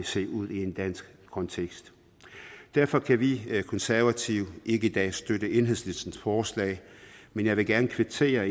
se ud i en dansk kontekst derfor kan de konservative ikke i dag støtte enhedslistens forslag men jeg vil gerne kvittere